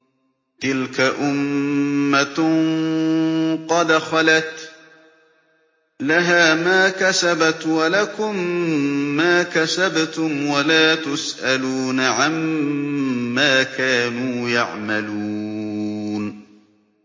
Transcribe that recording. تِلْكَ أُمَّةٌ قَدْ خَلَتْ ۖ لَهَا مَا كَسَبَتْ وَلَكُم مَّا كَسَبْتُمْ ۖ وَلَا تُسْأَلُونَ عَمَّا كَانُوا يَعْمَلُونَ